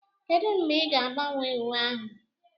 Kedu mgbe ị ga-agbanwe uwe ahụ?